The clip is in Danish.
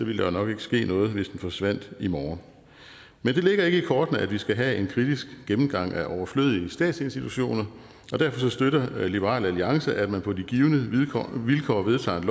ville der nok ikke ske noget hvis den forsvandt i morgen men det ligger ikke i kortene at vi skal have en kritisk gennemgang af overflødige statsinstitutioner og derfor støtter liberal alliance at man på de givne vilkår vedtager et